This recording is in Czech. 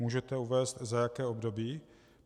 Můžete uvést, za jaké období?